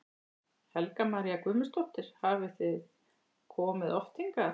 Helga María Guðmundsdóttir: Hafið þið komið oft hingað?